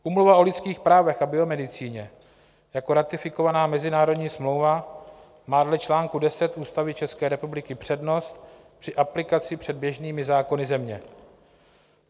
Úmluva o lidských právech a biomedicíně jako ratifikovaná mezinárodní smlouva má dle čl. 10 Ústavy České republiky přednost při aplikaci před běžnými zákony země.